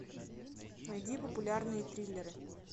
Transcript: найди популярные триллеры